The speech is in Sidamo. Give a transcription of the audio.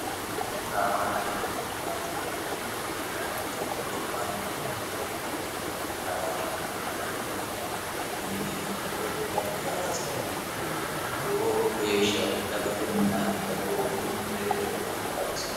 xrawanno bbt inimmuu mitte gobbanni wole gobba tiraawatenni mittu darginni wolee darga sa atenni lowo geeshsha daqatenna dhagoomu mereero qarrisinon